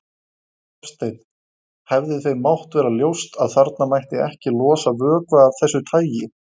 Hafsteinn: Hefði þeim mátt vera ljóst að þarna mætti ekki losa vökva af þessu tagi?